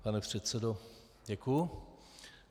Pane předsedo, děkuji.